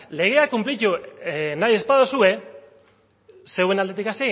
legea kunplitu nahi ez baduzue zuen aldetik